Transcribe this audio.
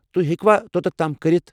تُہۍ ہیٚکوا توتتھ تام کٔرتھ؟